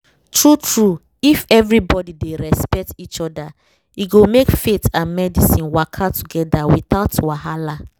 true-true if everybody dey respect each other e go make faith and medicine waka together without wahala